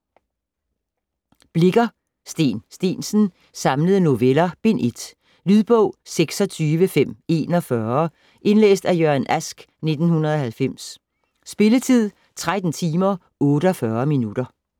Blicher, Steen Steensen: Samlede noveller - Bind 1 Lydbog 26541 Indlæst af Jørgen Ask, 1990. Spilletid: 13 timer, 48 minutter.